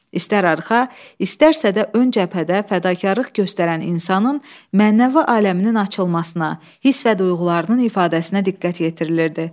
İstər arxa, istərsə də ön cəbhədə fədakarlıq göstərən insanın mənəvi aləminin açılmasına, hiss və duyğularının ifadəsinə diqqət yetirilirdi.